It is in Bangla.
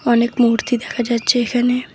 অনেক মূর্তি দেখা যাচ্ছে এখানে।